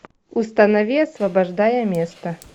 установи освобождая место